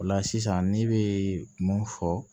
O la sisan ne bɛ mun fɔ